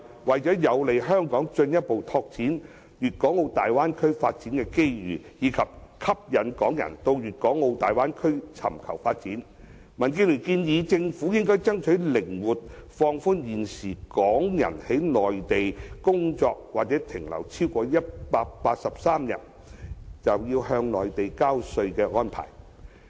為有利香港進一步拓展大灣區的發展機遇，以及吸引港人到大灣區尋求發展，民建聯建議政府靈活放寬現時港人在內地工作或停留超過183天便要向內地交稅的規定。